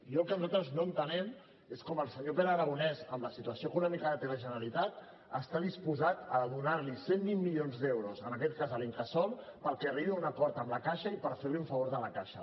i el que nosaltres no entenem és com el senyor pere aragonès amb la situació econòmica que té la generalitat està disposat a donar li cent i vint milions d’euros en aquest cas a l’incasòl perquè arribi a un acord amb la caixa i per fer li un favor a la caixa